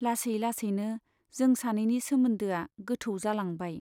लासै लासैनो जों सानैनि सोमोन्दोआ गोथौ जालांबाय।